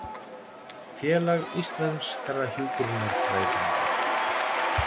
Félag íslenskra hjúkrunarfræðinga